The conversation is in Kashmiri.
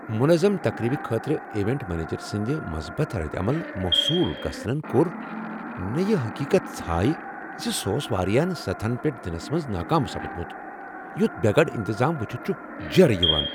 منظم تقریبہ خٲطرٕ ایونٹ منیجر سندِ مثبت ردعمل موصول گژھنن كور نہٕ یہِ حقیقت ژھایہِ زِ سُہ اوس وارِیاہن سطحن پیٹھ دِنس منز ناكام سپُدمُت ۔ یُتھ بے گنڈ انتظام وچھِتھ چھُ جیرٕ یوان۔